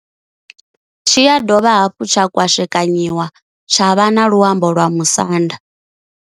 Tshi ya dovha hafhu tsha kwashekanyiwa tsha vha na luambo lwa musanda.